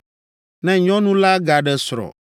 Ne nyɔnu la gaɖe srɔ̃,